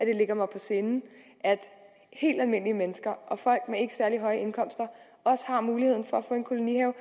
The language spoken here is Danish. det ligger mig på sinde at helt almindelige mennesker og folk med en ikke særlig høj indkomst også har mulighed for at få en kolonihave